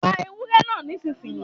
Pa ewúré náà nísinsìnyí